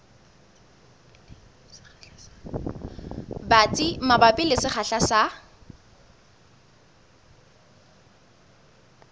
batsi mabapi le sekgahla sa